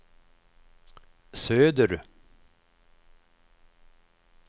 söder